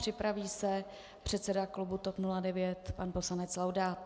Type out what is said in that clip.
Připraví se předseda klubu TOP 09 pan poslanec Laudát.